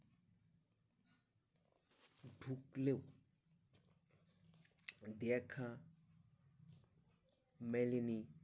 উপলেও দেখা মেলেনি